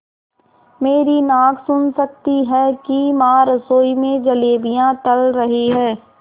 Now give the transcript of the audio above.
मेरी नाक सुन सकती है कि माँ रसोई में जलेबियाँ तल रही हैं